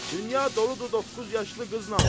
Dünya doludur doqquz yaşlı qızla.